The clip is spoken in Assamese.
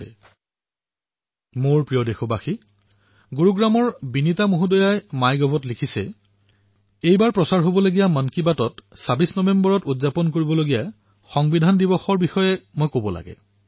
মোৰ মৰমৰ দেশবাসীসকল গুৰুগ্ৰামৰ পৰা বিনীতা মহোদয়াই মাই গভত লিখিছে যে মন কী বাতত মই কাইলৈ অৰ্থাৎ ২৬ নৱেম্বৰৰ সংবিধান দিৱসৰ বিষয়ে কব লাগে